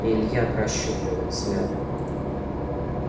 илья прощупал их взглядом